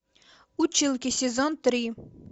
училки сезон три